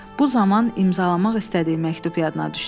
Bu zaman imzalamaq istədiyi məktub yadına düşdü.